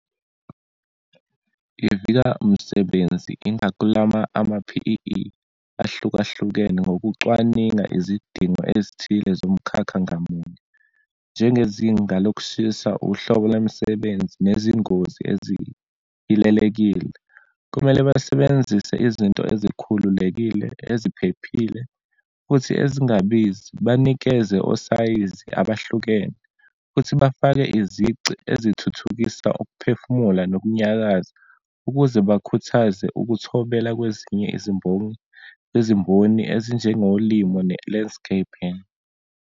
Ivika umsebenzi, ingaklama ama-P_E_E ahlukahlukene ngokucwaninga izidingo ezithile zomkhakha ngamunye, njengezinga lokushisa, uhlobo lomisebenzi nezingozi ezihilelekile. Kumele basebenzise izinto ezikhululekile, eziphephile, futhi ezingabizi. Banikeze osayizi abahlukene, futhi bafake izici ezithuthukisa ukuphefumula nokunyakaza, ukuze bakhuthaze ukuthobela kwezinye izimboni, izimboni ezinjengolimo ne-landscaping.